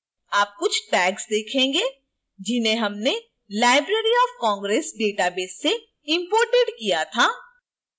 आप कुछ tags देखेंगे जिन्हें हमने library of congress database से imported किया था